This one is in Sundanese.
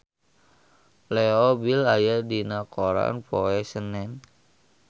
Leo Bill aya dina koran poe Senen